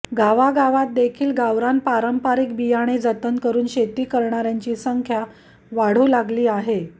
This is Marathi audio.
गावागावात देखील गावरान पारंपारिक बियाणे जतन करून शेती करणार्यांची संख्या वाढू लागली आहे